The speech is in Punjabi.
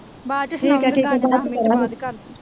ਬਾਚ ਚ ਸਨਾਉਗੀ